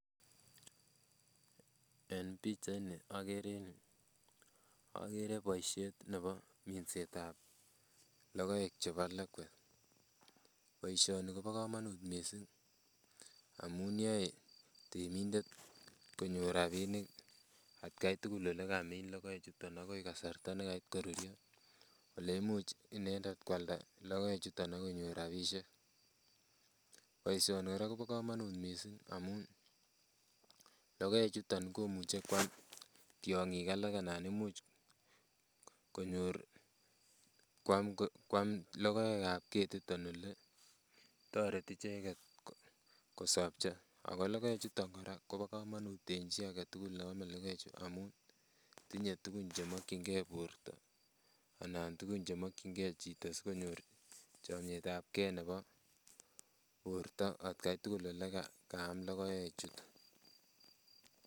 En pichaini okere en yuu okere boishet nebo minsetab lokoek chebo lakwat, boishoni kobokomonut mising amun yoe temindet ko nyor rabinik atkai tukul olekamin lokoe chuton akoi kasarta nekait korur oleimuch inendet kwalda lokoechuton ak konyor rabishek, boishoni Kobo komonut kora mising amun lokoechuton komuche kwaam tiong'ik alak anan imuch konyor kwaam lokoekab ketiton olee horeti icheket kosopcho, ak ko lokoechuton kora kobokomonut en chii aketukul neome lokoechu amun tinye tukun chemokying'e borto anan tukun chemokying'e chito sikonyor chametabke nebo borto atkai tukul olekaam lokoechu.